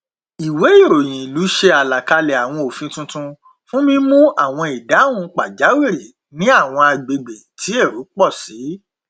ìwé ìròyìn ìlú ṣe àlàkalẹ àwọn òfin tuntun fún mímú àwọn ìdáhùn pàjáwìrì ní àwọn agbègbè tí èrò pọ sí